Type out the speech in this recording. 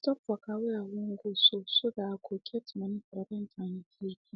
i stop waka way i wan go so so that i go get money for rent and utility